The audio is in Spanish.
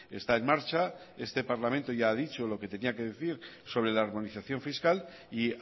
está en marcha este parlamento ya ha dicho lo que tenía que decir sobre la harmonización fiscal y